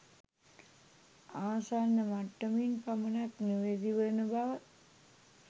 ආසන්න මට්ටමින් පමණක් නිවැරදි වන බව